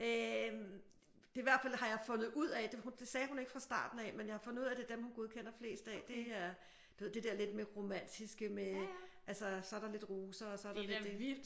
Æh det er i hvert fald har jeg fundet ud af det sagde hun ikke fra starten af men jeg har fundet ud af det er dem hun godkender flest af det er du ved det der lidt med romantiske med altså så er der lidt roser og så er der lidt det